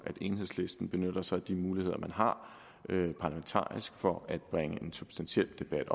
enhedslisten benytter sig af de muligheder man har parlamentarisk for at bringe en substantiel debat